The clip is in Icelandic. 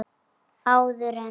Áður en